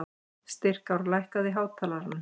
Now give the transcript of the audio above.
Styrkár, lækkaðu í hátalaranum.